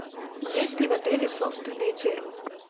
есть ли в отеле собственные термы